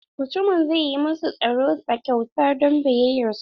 Mutumin zai yi masu tsaron sa kyauta don biyayyar su.